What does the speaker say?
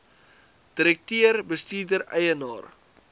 direkteur bestuurder eienaar